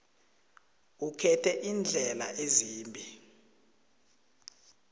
ukhethe iindlela ezimbili